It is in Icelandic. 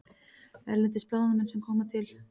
Erlendir blaðamenn sem koma til